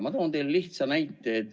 Ma toon teile lihtsa näite.